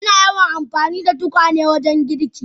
Ana yawan amfani da tukwane wajen girki.